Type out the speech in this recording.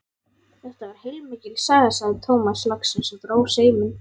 Þetta var heilmikil saga, sagði Tómas loksins og dró seiminn.